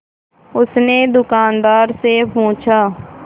उसने दुकानदार से पूछा